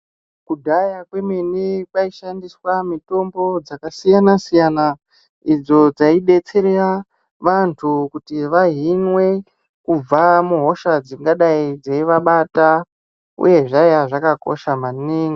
Kudhaya kwemene kwaishandiswa mitombo dzakasiyana siyana idzo dzaidetsera vantu kuti vahinwe kubva muhosha dzingadai dzeivabata uye zvaiya zvakakosha maningi.